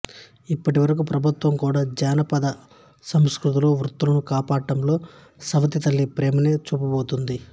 ఇప్పటి వరకు ప్రభుత్వం కూడా మన జానపద సాంస్కృతిక వృత్తులను కాపాడడంలో సవతి తల్లి ప్రేమనే చూపుతోంది